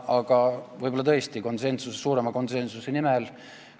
Aga võib-olla tehti seda tõesti suurema konsensuse nimel.